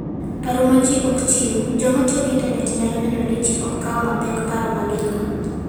Paro ma Ji Ok Chiw: Joma tiyo gi Intanet nyalo neno ni ji ok kaw mapek paro ma gin - go.